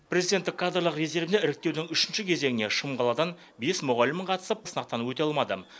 президенттік кадрлық резервіне іріктеудің үшінші кезеңіне шым қаладан бес мұғалім қатысып сынақтан өте алмады